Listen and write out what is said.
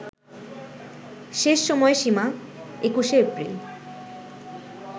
শেষ সময়সীমা ২১শে এপ্রিল